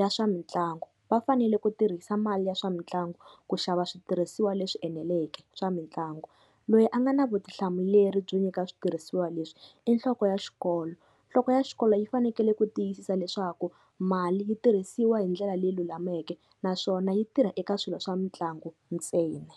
ya swa mitlangu. Va fanele ku tirhisa mali ya swa mitlangu ku xava switirhisiwa leswi eneleke swa mitlangu. Loyi a nga na vutihlamuleri byo nyika switirhisiwa leswi i nhloko ya xikolo, nhloko ya xikolo yi fanekele ku tiyisisa leswaku mali yi tirhisiwa hi ndlela leyi lulameke naswona yi tirha eka swilo swa mitlangu ntsena.